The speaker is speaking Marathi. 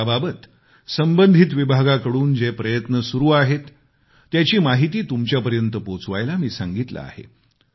याबाबत संबंधित विभागांकडून जे प्रयत्न सुरु आहेत त्याची माहिती तुमच्यापर्यत पोचवायला मी सांगितलं आहे